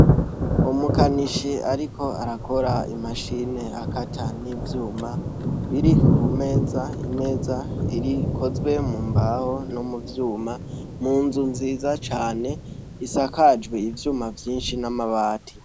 Umukanishi ariko arakora imashini akata n'ivyuma biri ku meza, imeza ikozwe mu mbaho no mu vyuma. Ni inzu nziza cane isakajwe ivyuma vyinshi n'amabati.